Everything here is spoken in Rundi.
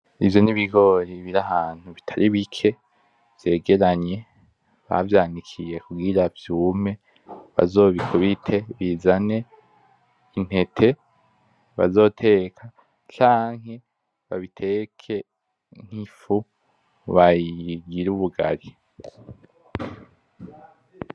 Ivyo n'ibigori birahantu bitaribike vyegeranye bavyanikiye kugira vyumye bazobikubite bizane intete bazoteka canke babiteke nk'ifu bayigire ubugari.